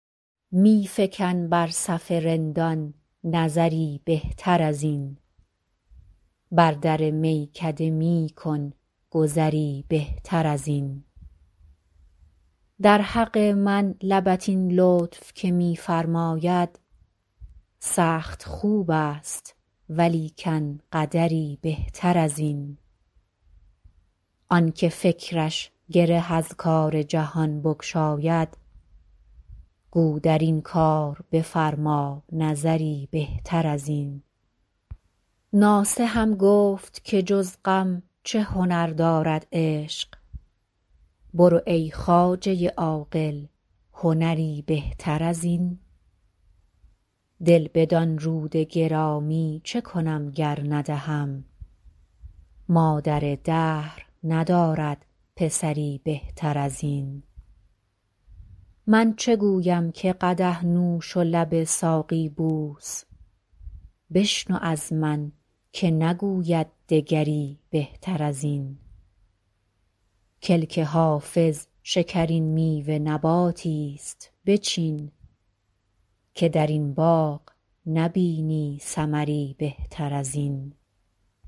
می فکن بر صف رندان نظری بهتر از این بر در میکده می کن گذری بهتر از این در حق من لبت این لطف که می فرماید سخت خوب است ولیکن قدری بهتر از این آن که فکرش گره از کار جهان بگشاید گو در این کار بفرما نظری بهتر از این ناصحم گفت که جز غم چه هنر دارد عشق برو ای خواجه عاقل هنری بهتر از این دل بدان رود گرامی چه کنم گر ندهم مادر دهر ندارد پسری بهتر از این من چو گویم که قدح نوش و لب ساقی بوس بشنو از من که نگوید دگری بهتر از این کلک حافظ شکرین میوه نباتی ست بچین که در این باغ نبینی ثمری بهتر از این